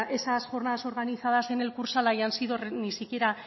esas jornadas organizadas en el kursaal hayan sido ni siquiera